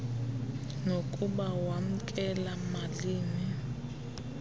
nokuba wamkela malini